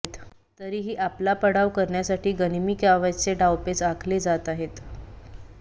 तरी ही आपला पाडाव करण्यासाठी गनिमी काव्याचे डावपेच आखले जात आहेत